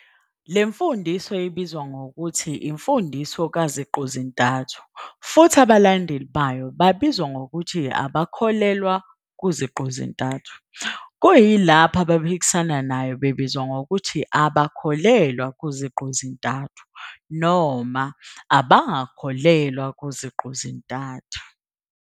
Le mfundiso ibizwa ngokuthi imfundiso kaZiqu-zintathu futhi abalandeli bayo babizwa ngokuthi abakholelwa kuZiqu-zintathu, kuyilapho abaphikisana nayo bebizwa ngokuthi abakholelwa kuZiqu-zintathu noma abangakholelwa kuZiqu-zintathu.